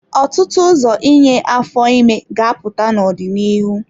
Ọtụtụ ụzọ inye afọ ime ga-apụta n'ọdịnihu.